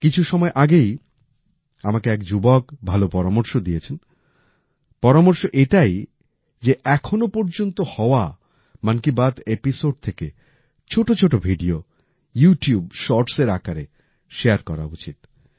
কিছু সময় আগেই আমাকে এক যুবক ভালো পরামর্শ দিয়েছেন পরামর্শ এটাই যে এখনও পর্যন্ত হওয়া মন কি বাত এপিসোড থেকে ছোট ছোট ভিডিও ইউটিউব শর্টস এর আকারে শারে করা উচিৎ